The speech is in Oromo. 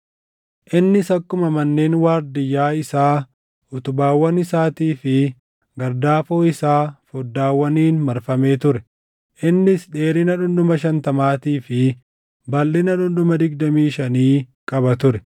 Innis akkuma manneen waardiyyaa isaa, utubaawwan isaatii fi gardaafoo isaa foddaawwaniin marfamee ture. Innis dheerina dhundhuma shantamaatii fi balʼina dhundhuma digdamii shanii qaba ture.